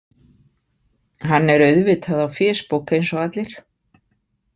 Hann er auðvitað á fésbók eins og allir.